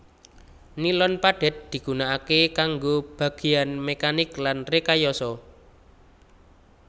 Nilon padhet digunakaké kanggo bagéyan mekanik lan rekayasa